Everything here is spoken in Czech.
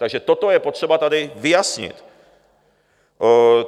Takže toto je potřeba tady vyjasnit.